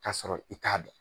Ka sɔrɔ i t'a dɔn